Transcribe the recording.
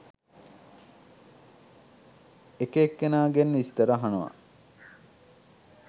එක එක්‌කෙනාගෙන් විස්‌තර අහනවා.